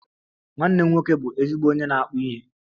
Nwanne m nwoke bụ ezigbo onye na-akpu ihe